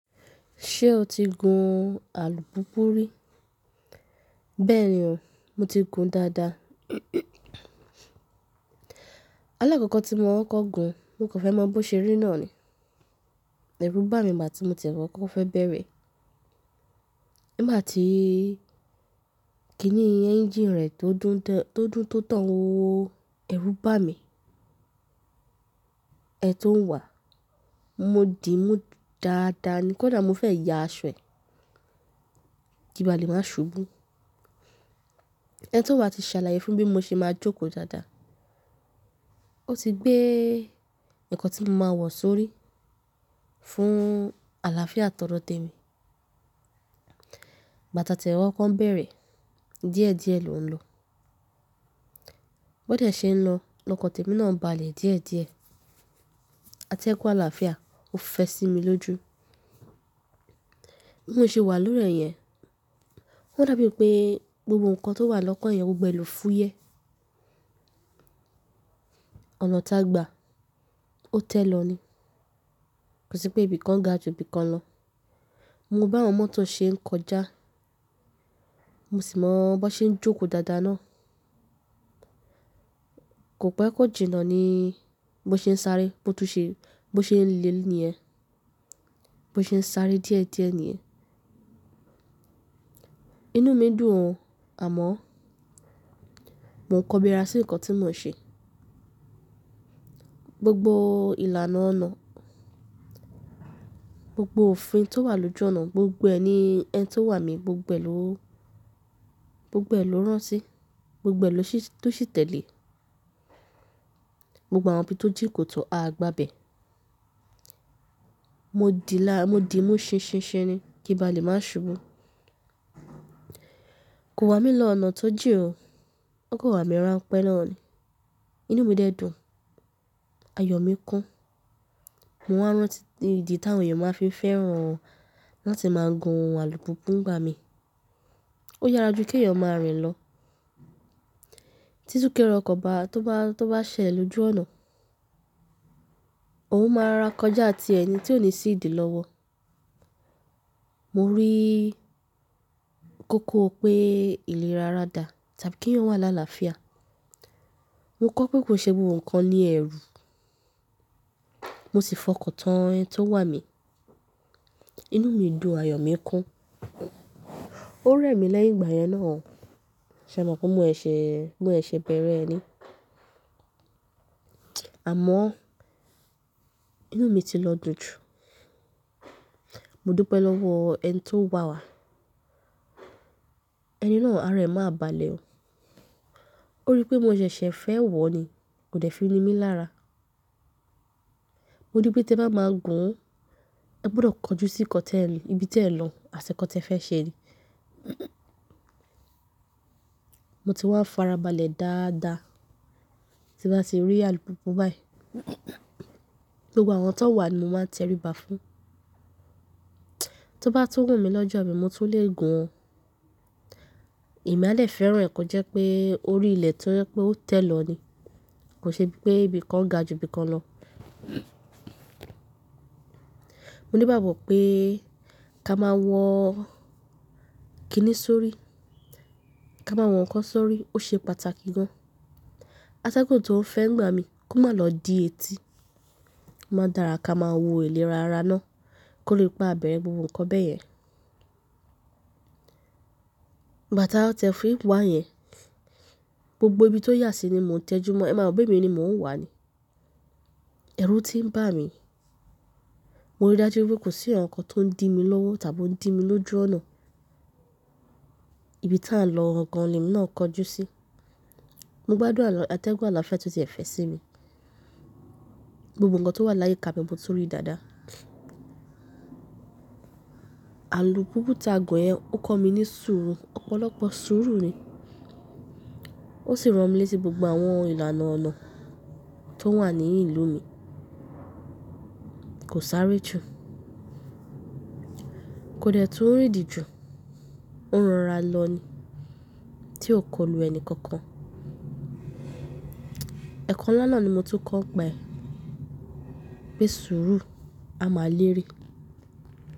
Ṣé o ti gun alùpùpù rí? Bẹ́ẹ̀ni o, mo ti gun dáadáa. Alákọ̀kọ̀ tí mo ń kọ́ko gun mo kò fẹ́ mọ bó ṣe rí náà ni. Ẹ̀rù bá mi ìgbà tí mo ti fẹ́ kọ́kọ́ bẹ̀rẹ̀. Nigbá tií, kíni ẹ́njìnì rẹ̀ tó dùn tó tán wóó, ẹrú bá mi. Ẹni tó ń wà. Mo dìímú dáadáa ni, kọ́ dà mo fẹ́ ya aṣọ ẹ. Ki ìbà lè máa ṣubú. Ẹni tó ń wà ti ṣàlàyé fún mi bó ṣe máa jókòó dáadáa. Ó ti gbé nǹkan tí mo máa wọ̀ sórí fún àlàáfíà tọdọ̀ témi. Ìgbà ti a tẹ̀ wá kọ́ bẹ̀rẹ̀. Díẹ̀díẹ̀ ló ń lọ. Bó dẹ̀ ṣe ń lọ, ni ọ́kàn tẹ́mi náà ń ba lè díẹ̀díẹ̀. A tẹ́gùn àlàáfíà ó fẹ́ sí mi lójú. Bí mo ṣe wà lórí ẹ̀ yẹn, ó dàbí pé gbogbo nǹkan tó wà lọ́kàn ẹ̀yẹn gbogbo ẹ ló fúyẹ́. Ọ̀nà tágba, ó tẹ́ lọ ni. Kò sì pé ibìkan ga ju ibìkan lọ. Mo wo bi àwọn mọ́tò ṣe ń kọjá, mo sì mọ bó ṣe ń jókòó dáadáa náà. Kò pé kò jìnnà ni bó ṣe ń sáré, bó tún ṣe, bó ṣe ń lé níyẹn, bó ṣe ń sáré díẹ̀díẹ̀ níyẹn. Inú mi dùn, àmọ́ mo ń kọ́biara sí nǹkan tí mò ń ṣe. Gbogbo ìlànà ọ̀nà, gbogbo òfin tó wà lójú ọ̀nà, gbogbo ẹ ni ẹ́ni tó wà mi gbogbo ẹ ló, gbogbo ẹ ló rántí, gbogbo ẹ ló tún ṣì tẹ̀lé. Gbogbo àwọn ibi tó jín koto a gbà bẹ̀. Mo dì lára mo dìímú ṣinṣinṣin ni kí n bà lè máa ṣubú. Kò wà mí lọ ọ̀nà tó jìn o. Ó kọ́ wà mí ràn pẹ́ náà ni. Inú mi dẹ dùn, ayọ̀ mi kún. Mo wá rántí, idi ti àwọn eyan máa fi fẹ́ràn láti máa gun alùpùpù nígbà mí. Ó yára ju kí èèyàn máa rìn lọ. Títú kẹ́rọ̀ okọ̀ oba tó bá, tó bá ṣẹlẹ̀ lójú ọ̀nà, òun máa ra kọjá ti ẹ̀yin tí ò ní sí ìdí lọ́wọ́. Mo rí kókó pé ìlerara da, tàbí kí èèyàn wà láàlàáfíà. Mo kọ̀ pé kò ṣe gbogbo nǹkan ní ẹ̀rù. Mo sì fọkàn tán ẹ́ni to wà mi. Inú mi dùn, ayọ̀ mi kún. Ó rẹ́ mi lẹ́yìn ìgbà yẹn náà. Ṣe mọ̀ pé mo seṣe, mo seṣe bẹ̀rẹ̀ ẹ́ ni? Àmọ́ inú mi ti lọ dùn jù. Mo dúpẹ́ lọ́wọ ẹ́ni tó wà wá. Ẹni náà ara ẹ́ máa bà lé o. Ó rí pé mo ṣẹ̀ṣẹ̀ fẹ́ wọ̀ ni, kò dẹ́ fi ni mí lára. Mo rí pé tí ẹ bá máa gun, ẹ gbọdọ̀ kọjú sí nkan ibi tiẹ́ n lọ, àti nkọ́ tẹ fẹ́ ṣe ni. Mo ti wá ń fara balẹ̀ dáadáa tí bá ti rí alùpùpù báyìí. Gbogbo àwọn tó wà ni mo máa tẹríba fún. Tí ó bá tún wù mí lọ́jọ́ àbí mo tún lè gun ó. Èmi a lè fẹ́ràn ẹ̀ kó jẹ́ pé orí ilẹ̀ tó jẹ́ pé ó tẹ́ lọ ni. Kò ṣe pé ibìkan ga ju ibìkan lọ. Mo ní ìgbágbo pé ká máa wọ̀ kíni sórí, ká máa wọ̀ nǹkan sórí, ó ṣe pàtàkì gan. Atẹ́gùn tó ń fẹ́ ńigbà mí kó má lọ di etí. Má dàra ká máa wo ìlera ara náà kó lè pa ibẹ̀ru gbogbo nǹkan bẹ́ẹ̀ yẹn. Ìgbà ti à tẹ́ fi wá yẹn, gbogbo ibi tó yà sí ni mò ń tẹjúmọ́. Ẹ máa rọ̀ bí emi ni mò ń wà ni. Ẹ̀rù tí ń bà mí, mo rí dájú wípé kò sí nkàn kan tó ń dí mi lọ́wọ́ tàbí ó ń dí mi lójú ọ̀nà. Ibi tá lọ̀ gan gan ni emi ńaa kọjú sí. Mo gbádùn atẹ́gùn àlàáfíà tí ó ti ẹ̀ fẹ́ sí mi. Gbogbo nǹkan tó wà láyiká bẹ, mo tún rí dáadáa. Alùpùpù tá gùn yẹn, ó kọ́ mi ní sùúrù, ọ̀pọ̀lọpọ̀ sùúrù ni. Ó sì ran mi létí gbogbo àwọn ìlànà ọ̀nà tó wà ní ìlú mi. Kò sáré jù. Kò dẹ́ tún rìdín jù. Ó ń rọra lọ ni tí ò kọlù ẹni kankan. Ẹ̀kọ́ ńlá náà ni mo tún kọ́ pe pé sùúrù a máa lére.